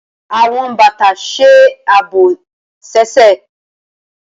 Awọn bata ṣe aabo ẹsẹ.